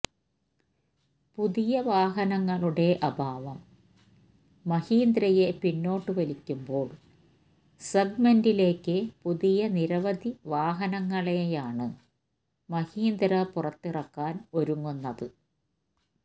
പുതിയ വാഹനങ്ങളുടെ അഭാവം മഹീന്ദ്രയെ പിന്നോട്ട് വലിക്കുമ്പോൾ സെഗ്മെന്റിലേക്ക് പുതിയ നിരവധി വാഹനങ്ങളെയാണ് മഹീന്ദ്ര പുറത്തിറക്കാൻ ഒരുങ്ങുന്നത്